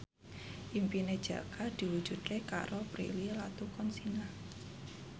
impine Jaka diwujudke karo Prilly Latuconsina